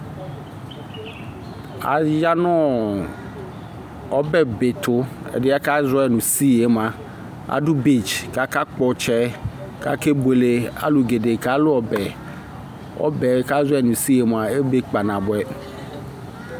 ayanʋ ɔbɛ bɛ tʋ, ɛdiɛ kazɔɛi nʋ seaɛ mʋa, adʋbeach kʋ aka kpɔ ɔtsɛ kʋ aka bʋɛlɛ alʋ gɛdɛɛ kalʋ ɔbɛ, ɔbɛ kazɔ nʋ seaɛ mʋa ɛbɛ kpa nabʋɛ